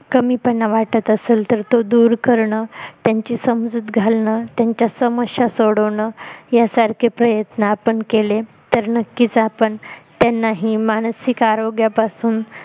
कमीपणा वाटत असेल तर तो दूर करणं त्यांची समजूत घालणं त्यांच्या समस्या सोडवणं यासारखे प्रयत्न आपण केले तर नक्कीच आपण त्यांनाही मानसिक आरोग्यापासून